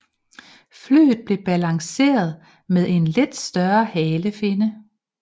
Flyet blev balanceret med en lidt større halefinne